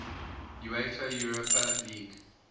uefa europa league